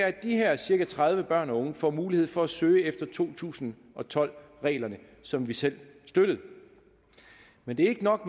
at de her cirka tredive børn og unge får mulighed for at søge efter to tusind og tolv reglerne som vi selv støttede men det er ikke nok